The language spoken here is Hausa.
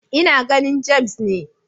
Ina ganin James ne.